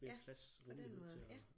Ja på den måde ja